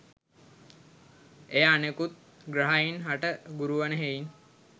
එය අනෙකුත් ග්‍රහයින් හට ගුරු වන හෙයින්